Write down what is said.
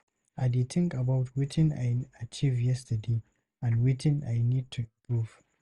I dey think about wetin I achieve yesterday, and wetin I need to improve.